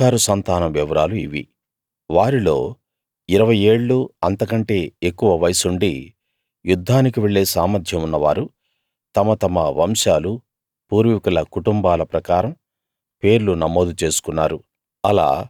ఇశ్శాఖారు సంతానం వివరాలు ఇవి వారిలో ఇరవై ఏళ్ళూ అంతకంటే ఎక్కువ వయస్సుండి యుద్ధానికి వెళ్ళే సామర్థ్యం ఉన్నవారు తమ తమ వంశాలూ పూర్వీకుల కుటుంబాల ప్రకారం పేర్లు నమోదు చేసుకున్నారు